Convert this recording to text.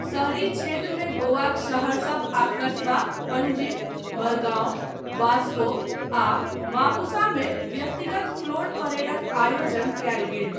शहरी क्षेत्रमे गोवाक शहरसभ आ कस्बा पंजीम, मरगांव, वास्को आ मापुसा मे व्यक्तिगत फ्लोट परेडक आयोजन कयल गेल।